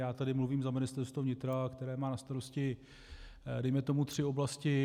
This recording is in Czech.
Já tady mluvím za Ministerstvo vnitra, které má na starosti dejme tomu tři oblasti.